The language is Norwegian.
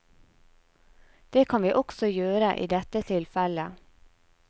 Det kan vi også gjøre i dette tilfellet.